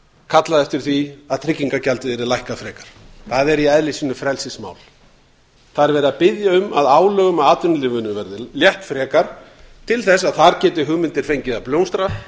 kallað eftir því að tryggingagjaldið yrði lækkað frekar það er í eðli sínu frelsismál það er verið að biðja um að álögum á atvinnulífinu verði létt frekar til þess að þar geti hugmyndir fengið að blómstra